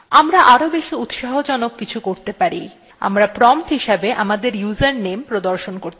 আমরা আরও বেশি উৎসাহজনক কিছু করতে পারি আমরা prompt হিসাবে আমাদের username প্রদর্শন করতে পারি